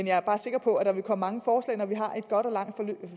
jeg er sikker på at der vil komme mange forslag når vi har et godt og langt